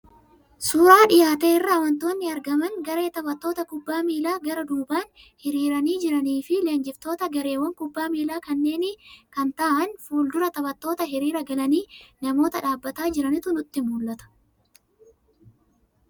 Suuraa dhiyaate irraa wantoonni argaman garee taphattoota kubbaa miilaa gara duubaan hiriiranii jiranii fi leenjiftoota gareewwan kubbaa miilaa kanneenii kan ta'an fuul-dura taphattootaa hiriira galanii namoota dhaabataa jiranitu nutti mul'ata.